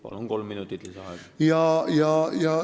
Palun, kolm minutit lisaaega!